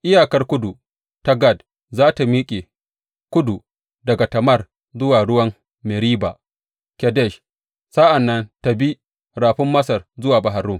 Iyakar kudu ta Gad za tă miƙe kudu daga Tamar zuwa ruwan Meriba Kadesh, sa’an nan ta bi Rafin Masar zuwa Bahar Rum.